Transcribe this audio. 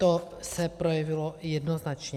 To se projevilo jednoznačně.